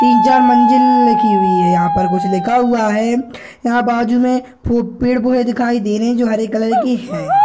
तीन चार मंज़िललललल लिखी हुई है यहाँ पर कुछ लिखा हुआ है यहाँ बाजू में फु पेड़ पुरे दिखाई दे रहें हैं जो हरे कलर के हैं।